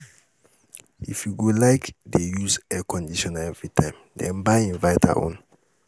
if you go like dey use air conditioner evritime den buy inverter own